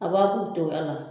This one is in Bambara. A b'a k'u togoya la